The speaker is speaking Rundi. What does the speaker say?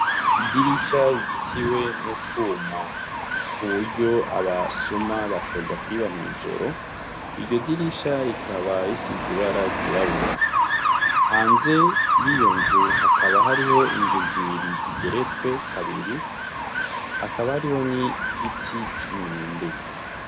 Idirisha rizitiwe n'utwuma kuburyo aba suma batoza kwiba mw'ijoro, iryo dirisha rikaba risi zibara ryirabura hanze y'iyo nzu hakaba hariho inzu zibiri zigeretswe kabiri, hakaba hariho ni giti c'umwembe.